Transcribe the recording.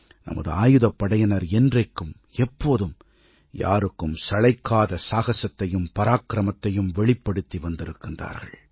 நமது ஆயுதப்படையினர் என்றைக்கும் எப்போதும் யாருக்கும் சளைக்காத சாகசத்தையும் பராக்கிரமத்தையும் வெளிப்படுத்தி வந்திருக்கின்றார்கள்